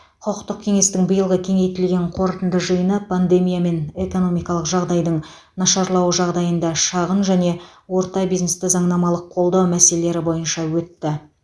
құқықтық кеңестің биылғы кеңейтілген қорытынды жиыны пандемия мен экономикалық жағдайдың нашарлауы жағдайында шағын және орта бизнесті заңнамалық қолдау мәселелері бойынша өтті